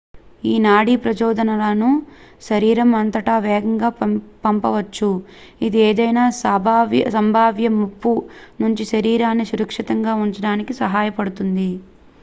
ఈ నాడీ ప్రచోదనాలను శరీరం అంతటా వేగంగా పంపవచ్చు ఇది ఏదైనా సంభావ్య ముప్పు నుంచి శరీరాన్ని సురక్షితంగా ఉంచడానికి సహాయపడుతుంది